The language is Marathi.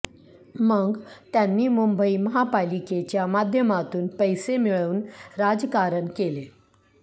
मग त्यांनी मुंबई महापालिकेच्या माध्यमातून पैसे मिळवून राजकारण केले